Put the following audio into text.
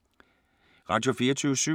Radio24syv